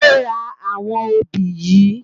Tà ló rá áwòn óbi yi?